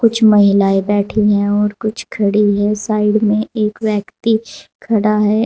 कुछ महिलाएं बैठी हैं और कुछ महिलाएं खड़ी हैं साइड में एक व्यक्ति खड़ा है।